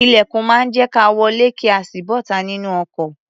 Ilẹ̀kùn máa ń jẹ́ ka wọlé kí a sì bọ́ta nínú ọkọ̀.